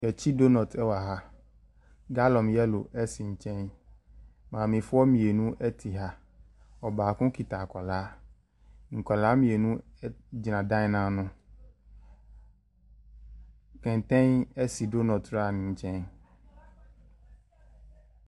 Yɛrekyi donut ɛwɔ ha, gallon yellow esi nkyɛn, maamefoɔ mmienu ɛte ha, ɔbaako kita akwadaa, nkwadaa mmienu gyina dan n'ano. Kɛnten esi donut wura no nkyɛn.